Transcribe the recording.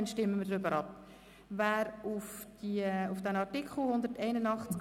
Sie wissen nun jedoch inhaltlich mehr.